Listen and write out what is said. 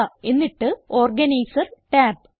എന്നിട്ട് organiser tab